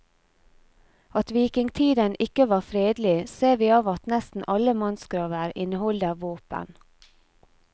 At vikingtiden ikke var fredelig, ser vi av at nesten alle mannsgraver inneholder våpen.